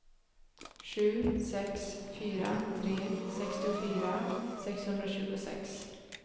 sju sex fyra tre sextiofyra sexhundratjugosex